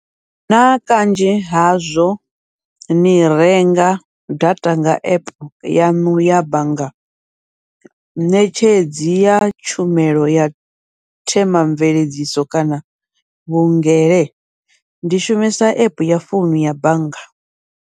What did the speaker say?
Naa kanzhi hazwo ni renga data nga app yaṋu ya bannga ṋetshedzi ya tshumelo ya themamveledziso kana vhungele, ndi shumisa app ya founu ya bannga.